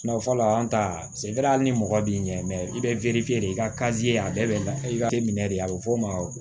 Na fɔlɔ an ta ni mɔgɔ b'i ɲɛ i bɛ de i ka a bɛɛ bɛ lafiya i ka kɛ minɛ de a bɛ f'o ma